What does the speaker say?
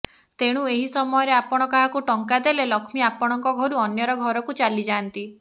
ତେଣୁ ଏହି ସମୟରେ ଆପଣ କାହାକୁ ଟଙ୍କା ଦେଲେ ଲକ୍ଷ୍ମୀ ଆପଣଙ୍କ ଘରୁ ଅନ୍ୟର ଘରକୁ ଚାଲିଯାଆନ୍ତି